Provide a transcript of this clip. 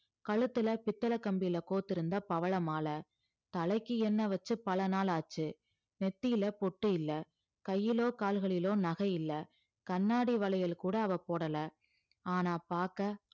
கழுத்துல பித்தளை கம்பியில கோத்திருந்த பவள மாலை தலைக்கு எண்ணெய் வச்சு பல நாள் ஆச்சு நெத்தியில பொட்டு இல்ல கையிலோ கால்களிலோ நகை இல்ல கண்ணாடி வளையல் கூட அவள் போடல ஆனா பார்க்க